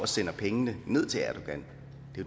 sender pengene ned til erdogan